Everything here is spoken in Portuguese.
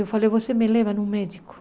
Eu falei, você me leva num médico.